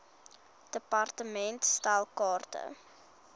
department stel kaarte